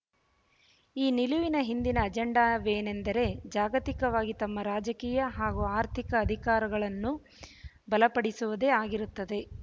ಈ ನಿಲುವಿನ ಹಿಂದಿನ ಅಜೆಂಡವೇನೆಂದರೆ ಜಾಗತಿಕವಾಗಿ ತಮ್ಮ ರಾಜಕೀಯ ಹಾಗೂ ಆರ್ಥಿಕ ಅಧಿಕಾರಗಳನ್ನು ಬಲಪಡಿಸುವುದೇ ಆಗಿರುತ್ತದೆ